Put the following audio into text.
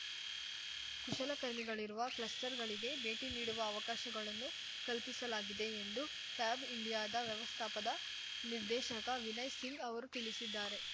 ಕುಶಲಕರ್ಮಿಗಳಿರುವ ಕ್ಲಸ್ಟರ್‌ಗಳಿಗೆ ಭೇಟಿ ನೀಡುವ ಅವಕಾಶಗಳನ್ನು ಕಲ್ಪಿಸಲಾಗಿದೆ ಎಂದು ಫ್ಯಾಬ್ ಇಂಡಿಯಾದ ವ್ಯವಸ್ಥಾಪದ ನಿರ್ದೇಶಕ ವಿನಯ್ ಸಿಂಗ್ ಅವರು ತಿಳಿಸಿದ್ದಾರೆ